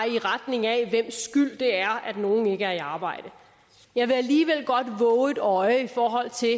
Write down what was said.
i retning af hvis skyld det er at nogen ikke er i arbejde jeg vil alligevel godt vove et øje i forhold til at